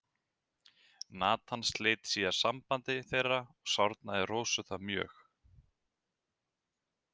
Natan sleit síðar sambandi þeirra og sárnaði Rósu það mjög.